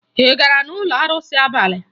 Ị gara n'ụlọ arụsị n'abalị?